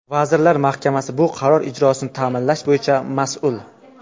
Vazirlar Mahkamasi bu qaror ijrosini ta’minlash bo‘yicha mas’ul.